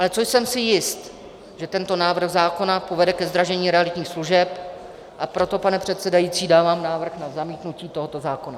Ale čím jsem si jist, že tento návrh zákona povede ke zdražení realitních služeb, a proto, pane předsedající, dávám návrh na zamítnutí tohoto zákona.